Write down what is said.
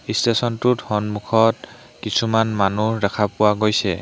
ষ্টেচনটোত সন্মুখত কিছুমান মানুহ দেখা পোৱা গৈছে।